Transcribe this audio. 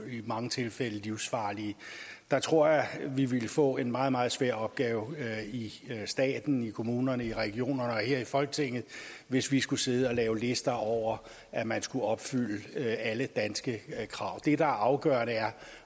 i mange tilfælde livsfarlige jeg tror at vi ville få en meget meget svær opgave i staten i kommunerne i regionerne og her i folketinget hvis vi skulle sidde og lave lister over at man skulle opfylde alle danske krav det der er afgørende er